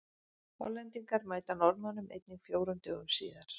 Hollendingar mæta Norðmönnum einnig fjórum dögum síðar.